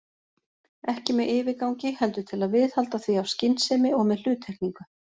Ekki með yfirgangi, heldur til að viðhalda því af skynsemi og með hluttekningu.